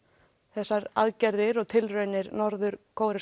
þessar aðgerðir og tilraunir norður